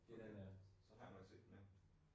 Okay. Så har jeg nok set den ja